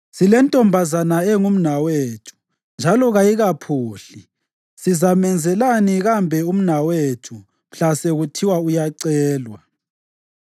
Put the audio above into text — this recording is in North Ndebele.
Silentombazana engumnawethu, njalo kayikaphuhli. Sizamenzelani kambe umnawethu mhla sekuthiwa uyacelwa?